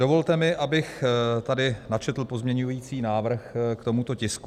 Dovolte mi, abych tady načetl pozměňovací návrh k tomuto tisku.